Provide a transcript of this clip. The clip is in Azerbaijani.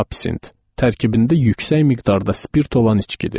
Absint tərkibində yüksək miqdarda spirt olan içkidir.